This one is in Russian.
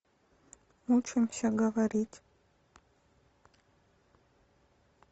учимся говорить